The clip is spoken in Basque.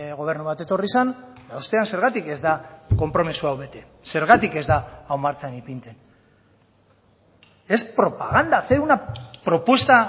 gobernu bat etorri zen eta ostean zergatik ez da konpromiso hau bete zergatik ez da hau martxan ipintzen es propaganda hacer una propuesta